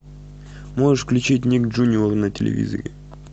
можешь включить ник джуниор на телевизоре